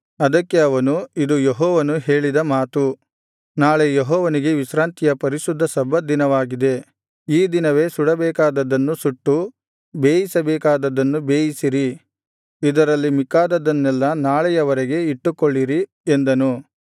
ಅದಕ್ಕೆ ಅವನು ಇದು ಯೆಹೋವನು ಹೇಳಿದ ಮಾತು ನಾಳೆ ಯೆಹೋವನಿಗೆ ವಿಶ್ರಾಂತಿಯ ಪರಿಶುದ್ಧ ಸಬ್ಬತ ದಿನವಾಗಿದೆ ಈ ದಿನವೇ ಸುಡಬೇಕಾದದ್ದನ್ನು ಸುಟ್ಟು ಬೇಯಿಸಬೇಕಾದದ್ದನ್ನು ಬೇಯಿಸಿರಿ ಇದರಲ್ಲಿ ಮಿಕ್ಕಾದದ್ದನ್ನೆಲ್ಲಾ ನಾಳೆಯವರೆಗೆ ಇಟ್ಟುಕೊಳ್ಳಿರಿ ಎಂದನು